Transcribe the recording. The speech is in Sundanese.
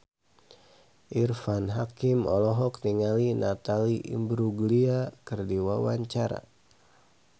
Irfan Hakim olohok ningali Natalie Imbruglia keur diwawancara